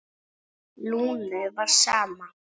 Lúnu var sama.